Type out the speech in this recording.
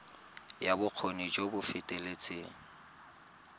ya bokgoni jo bo feteletseng